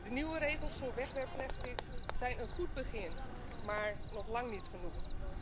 De nieuwe regels voor wegwerpplastics zijn een goed begin, maar nog lang niet genoeg.